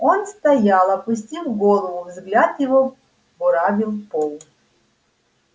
он стоял опустив голову взгляд его буравил пол